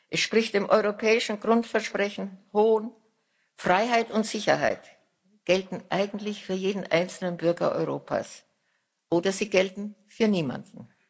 Er spricht dem europäischen Grundversprechen Hohn Freiheit und Sicherheit gelten eigentlich für jeden einzelnen Bürger Europas oder sie gelten für niemanden.